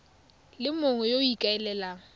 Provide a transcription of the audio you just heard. le mongwe yo o ikaelelang